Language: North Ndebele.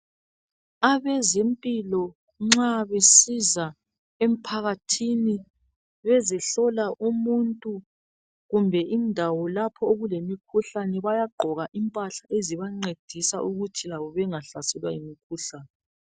Abezempilo nxa besiza empakathini bezohlola umuntu kumbe indawo lapho okemkhuhlane, bayagqoka impahla ezibancedisa ukuba labo bengahlaselwa yimkhuhlane